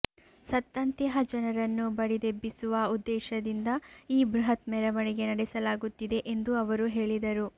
ಸತ್ತಂತಿಹ ಜನರನ್ನು ಬಡಿದೆಬ್ಬಿಸುವ ಉದ್ದೇಶದಿಂದ ಈ ಬೃಹತ್ ಮೆರವಣಿಗೆ ನಡೆಸಲಾಗುತ್ತಿದೆ ಎಂದು ಅವರು ಹೇಳಿದರು